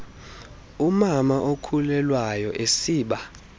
umama okhulelwayo esiba